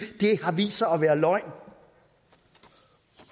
har vist sig at være løgn